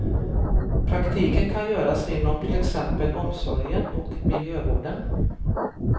Praktiken kan göras inom till exempel omsorgen och miljövården.